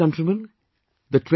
My dear countrymen,